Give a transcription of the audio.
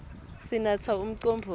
sinatsa umcombotsi